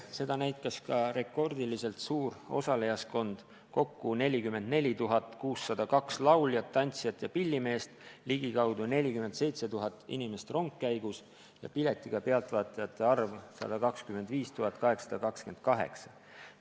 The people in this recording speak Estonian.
Seda näitas ka rekordiliselt suur osalejaskond: kokku 44 602 lauljat, tantsijat ja pillimeest, ligikaudu 47 000 inimest rongkäigus ja piletiga pealtvaatajate arv 125 828.